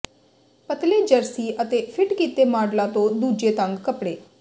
ਪਤਲੇ ਜਰਸੀ ਅਤੇ ਫਿੱਟ ਕੀਤੇ ਮਾਡਲਾਂ ਤੋਂ ਦੂਜੇ ਤੰਗ ਕੱਪੜੇ